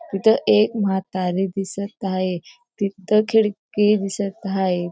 तिथं एक म्हातारी दिसत आहे तिथं खिडकी दिसत हाये.